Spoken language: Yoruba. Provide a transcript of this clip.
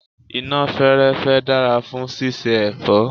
iná fẹ́ẹ́rẹ́fẹ́ dára fún síse èfọ́.